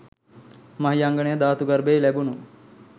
මහියංගන ධාතු ගර්භයෙන් ලැබුණු